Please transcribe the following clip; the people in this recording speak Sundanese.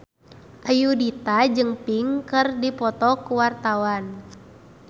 Ayudhita jeung Pink keur dipoto ku wartawan